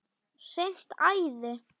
Hreint æði!